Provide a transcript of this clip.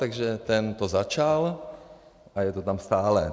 Takže ten to začal a je to tam stále.